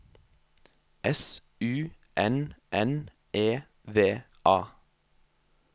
S U N N E V A